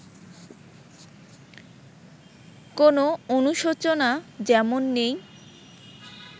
কোনো অনুশোচনা যেমন নেই